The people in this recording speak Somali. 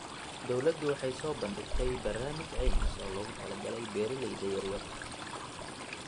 Dawladdu waxay soo bandhigtay barnaamij caymis oo loogu talagalay beeralayda yaryar.